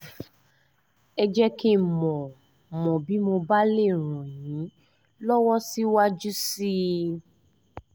ẹ jẹ́ kí n mọ̀ mọ̀ bí mo bá lè ràn yín lọ́wọ́ síwájú sí i